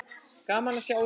Gaman að sjá ykkur.